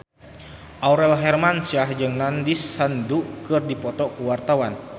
Aurel Hermansyah jeung Nandish Sandhu keur dipoto ku wartawan